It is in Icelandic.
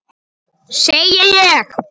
Segi ég.